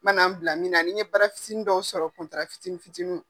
Man'an bila minna nin ye bara fitiini dɔw sɔrɔ kuntara fitinin fitiini